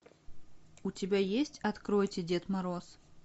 у тебя есть откройте дед мороз